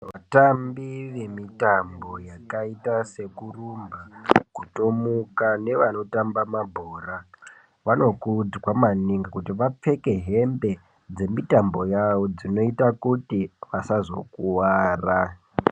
Vatambi vemitambo yakaita sekurumba, kutomuka nevanotamba mabhora, vanokudzwa maningi kuti avapfeke hembe dzemitambo yavo dzinoite kuti asazokuwara.